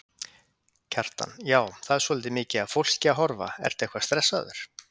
Kjartan: Já, það er svolítið mikið af fólki að horfa, ertu eitthvað stressaður?